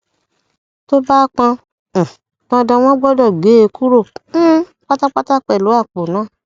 tó bá pọn um dandan wọn gbọdọ gé e kúrò um pátápátá pẹlú àpò náà